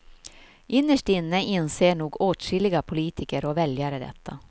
Innerst inne inser nog åtskilliga politiker och väljare detta.